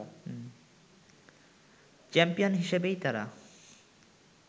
champion হিসেবেই তারা